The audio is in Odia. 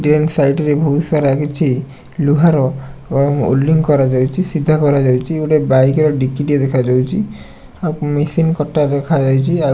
ଡେନ୍ ସାଇଟ ରେ ବହୁତ ସାରା କିଛି ଲୁହାର ଅ ଓଲ୍ଡିଂ କରାଯାଇଛି। ସିଧା କରାଯାଉଛି ଗୋଟେ ବାଇକ ର ଡିକି ଟିଏ ଦେଖାଯାଉଛି। ଆଉ ମେସିନ୍ କଟା ଦେଖାଯାଇଛି --